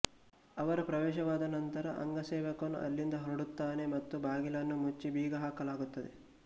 ಅವರ ಪ್ರವೇಶವಾದ ನಂತರ ಅಂಗಸೇವಕನು ಅಲ್ಲಿಂದ ಹೊರಡುತ್ತಾನೆ ಮತ್ತು ಬಾಗಿಲನ್ನು ಮುಚ್ಚಿ ಬೀಗಹಾಕಲಾಗುತ್ತದೆ